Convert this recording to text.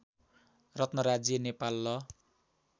रत्न राज्य नेपाल ल